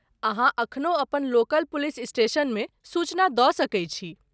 अहाँ एखनो अपन लोकल पुलिस स्टेशनमे सूचना दऽ सकैत छी।